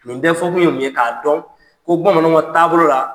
Nin bɛ fɔ kun ye mun ye, k'a dɔn ko Bamananw ka taabolo la.